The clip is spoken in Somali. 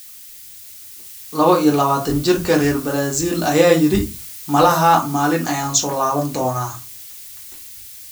Labo iyo labatan-jirka reer Brazil ayaa yiri: “Malaha maalin ayaan soo laaban doonaa”.